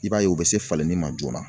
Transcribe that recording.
I b'a ye u bɛ se falenni ma joona.